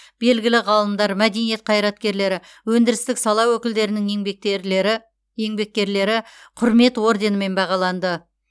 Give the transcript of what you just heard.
белгілі ғалымдар мәдениет қайраткерлері өндірістік сала өкілдерінің еңбеккерлері құрмет орденімен бағаланды